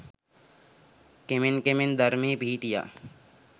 කෙමෙන් කෙමෙන් ධර්මයේ පිහිටියා